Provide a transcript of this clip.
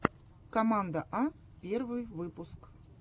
команда а первый выпуск